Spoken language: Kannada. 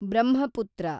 ಬ್ರಹ್ಮಪುತ್ರ